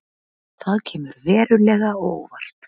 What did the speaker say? Það kemur verulega á óvart